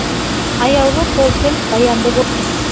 аяулы сол тіл баянды болсын